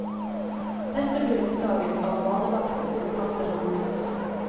Dette blir oppdaget av badevakten som kaster ham ut.